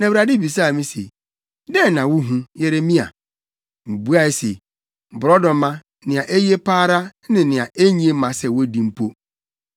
Na Awurade bisaa me se, “Dɛn na wuhu, Yeremia?” Mibuae se, “Borɔdɔma, nea eye pa ara, ne nea enye mma sɛ wodi mpo.”